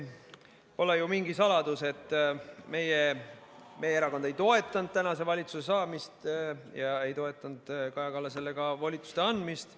Pole mingi saladus, et meie erakond ei toetanud praeguse valitsuse võimule saamist ja ei toetanud ka Kaja Kallasele volituste andmist.